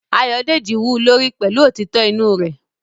Ayodeji wú u lórí pẹ̀lú òtítọ́ inú rẹ̀